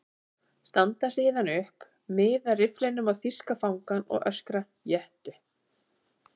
Standa síðan upp, miða rifflinum á þýska fangann og öskra: Éttu!